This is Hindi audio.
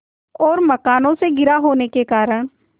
और मकानों से घिरा होने के कारण